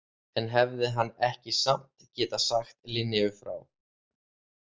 En hefði hann ekki samt getað sagt Linneu frá?